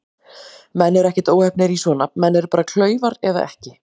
Menn eru ekkert óheppnir í svona, menn eru bara klaufar eða ekki.